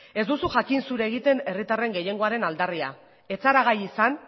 ez duzu jakin zure egiten herritarren gehiengoaren aldarria ez zara gai izan